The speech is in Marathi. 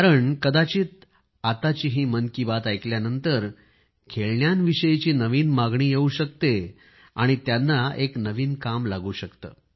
कारण कदाचित आताची ही मन की बात ऐकल्यानंतर खेळण्यांविषयीची नवीन मागणी येवू शकते आणि त्यांना एक नवीन काम लागू शकते